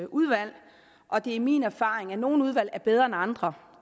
udvalg og det er min erfaring at nogle udvalg er bedre end andre